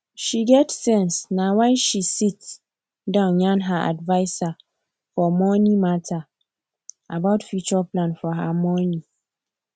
she get sense na why she sit down yarn her adviser for money mata about future plan for her money